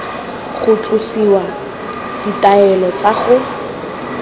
go tlosiwa ditaelo tsa go